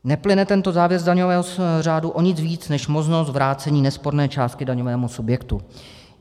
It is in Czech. Neplyne tento závěr z daňového řádu o nic víc než možnost vrácení nesporné částky daňovému subjektu."